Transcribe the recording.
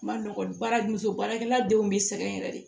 Ma nɔgɔ baara muso baarakɛla denw be sɛgɛn yɛrɛ de